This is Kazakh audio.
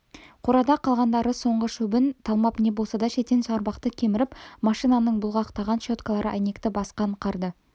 қорада қалғандары соңғы шөбін талмап не болмаса шетен шарбақты кеміріп машинаның бұлғақтаған щеткалары әйнекті басқан қарды